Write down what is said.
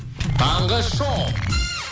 таңғы шоу